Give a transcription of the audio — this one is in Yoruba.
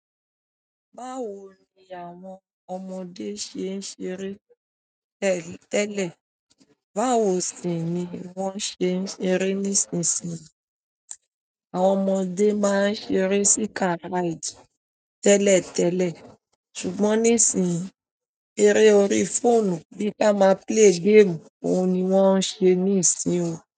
Báwo ni àwọn ọmọdé ṣe ń ṣeré tẹ́lẹ̀? Báwo sì ni wọ́n ṣe ń ṣeré nísinsìnyí? Àwọn ọmọdé máa ń ṣeré sí car ride tẹ́lẹ̀tẹ́lẹ̀ ṣùgbọ́n nísinyí, eré orí fóònù bí ká máa play game, ohun ni wọ́n ń ṣe ní ìsin o.